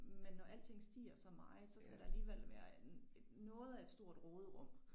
Men når alting stiger så meget så skal der alligevel være noget af et stort råderum